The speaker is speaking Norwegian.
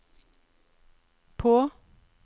på